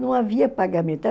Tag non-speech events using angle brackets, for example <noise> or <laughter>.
Não havia <unintelligible>